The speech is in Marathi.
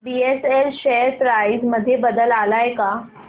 बीएसएल शेअर प्राइस मध्ये बदल आलाय का